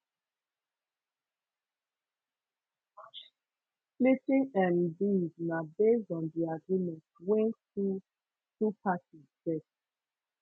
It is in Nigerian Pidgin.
splitting um bills na based on di agreement wey two two parties get